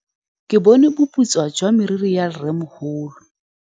Ke bone boputswa jwa meriri ya rrêmogolo.